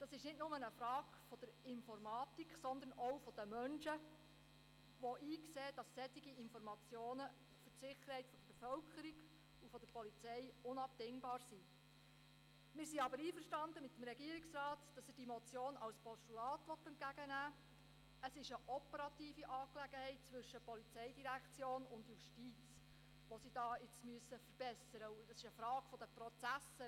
Das ist nicht nur eine Frage der Informatik, sondern auch eine Frage der Menschen, die einsehen, dass solche Informationen für die Sicherheit der Bevölkerung und der Polizei